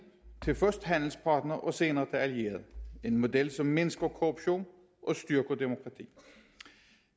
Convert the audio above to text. til først handelspartner og senere til allieret en model som mindsker korruption og styrker demokrati